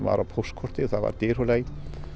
var á póstkorti það var í Dyrhólaey